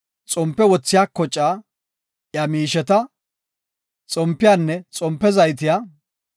xompe wothiya kocaa, iya miisheta, xompiyanne xompe zaytiya;